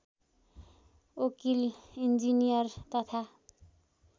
वकिल इन्जिनियर तथा